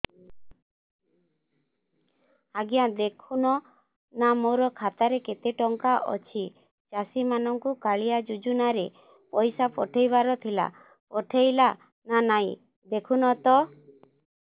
ଆଜ୍ଞା ଦେଖୁନ ନା ମୋର ଖାତାରେ କେତେ ଟଙ୍କା ଅଛି ଚାଷୀ ମାନଙ୍କୁ କାଳିଆ ଯୁଜୁନା ରେ ପଇସା ପଠେଇବାର ଥିଲା ପଠେଇଲା ନା ନାଇଁ ଦେଖୁନ ତ